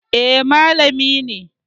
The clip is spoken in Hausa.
Eh, malami ne